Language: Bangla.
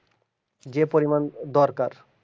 যে পরিমাণ দরকার